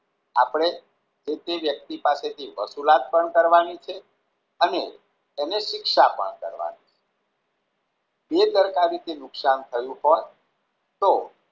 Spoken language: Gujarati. આપણે જે તે વ્યક્તિ પાસે થી વસુલાત પણ કરવાની છે અને તેને શિક્ષા પણ કરવાની જે કરતા આવી રીતે નુકશાન થયું હોય તો